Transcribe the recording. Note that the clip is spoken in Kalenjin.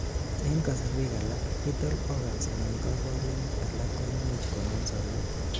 en kasorwek alak, vital organs anan kaborunik alak koimuch kongem sobet